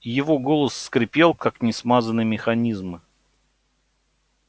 его голос скрипел как несмазанный механизм